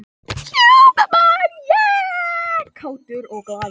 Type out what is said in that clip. Kátur og glaður.